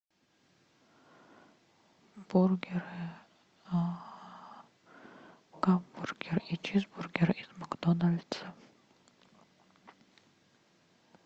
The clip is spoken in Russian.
бургеры гамбургер и чизбургер из макдональдса